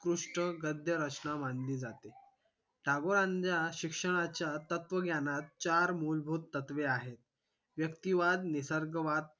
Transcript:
उत्कृष्ट गद्य रचना मानली जाते टागोरांच्या शिक्षणाच्या तत्वज्ञानात चार मूलभूत तत्वे आहेत व्यक्तीवाद निसर्गवाद